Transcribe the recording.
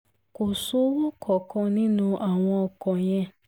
ko sowo kankan ninu awọn ọkọ yẹn